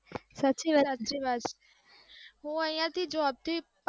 સાચી વાત છે. હુ અહીયા થઈ જોબથી